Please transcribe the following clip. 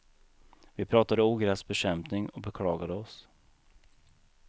Vi pratade ogräsbekämpning och beklagade oss.